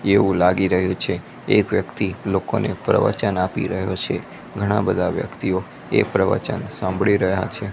એવું લાગી રહ્યું છે એક વ્યક્તિ લોકોને પ્રવચન આપી રહ્યો છે ઘણા બધા વ્યક્તિઓ એ પ્રવચન સાંભળી રહ્યા છે.